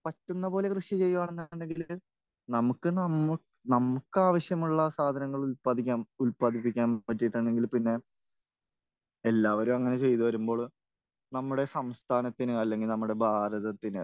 പറ്റുന്ന പോലെ കൃഷി ചെയ്യുകയാണെന്നുണ്ടെങ്കിൽ നമുക്ക് നമ്മു...നമുക്ക് ആവശ്യമുള്ള സാധനങ്ങൾ ഉത്പാദിക്കാൻ...ഉത്പാദിപ്പിക്കാൻ പറ്റിയിട്ടാണെങ്കിൽ പിന്നെ എല്ലാവരും അങ്ങനെ ചെയ്ത് വരുമ്പോഴോ? നമ്മുടെ സംസ്ഥാനത്തിന് അല്ലെങ്കിൽ നമ്മുടെ ഭാരതത്തിന്